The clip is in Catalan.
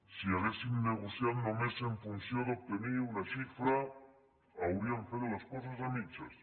si haguéssim negociat només en funció d’obtenir una xifra hauríem fet les coses a mitges